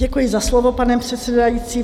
Děkuji za slovo, pane předsedající.